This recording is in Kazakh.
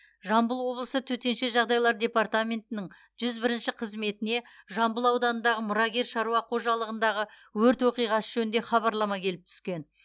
жамбыл облысы төтенше жағдайлар департаментінің жүз бірінші қызметіне жамбыл ауданындағы мұрагер шаруа қожалығындағы өрт оқиғасы жөнінде хабарлама келіп түскен